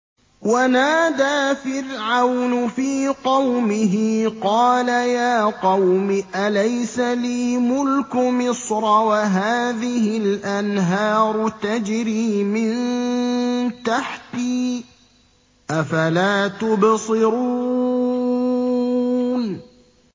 وَنَادَىٰ فِرْعَوْنُ فِي قَوْمِهِ قَالَ يَا قَوْمِ أَلَيْسَ لِي مُلْكُ مِصْرَ وَهَٰذِهِ الْأَنْهَارُ تَجْرِي مِن تَحْتِي ۖ أَفَلَا تُبْصِرُونَ